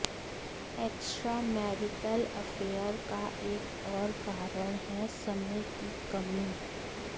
extra marital affair का एक और कारण है समय की कमी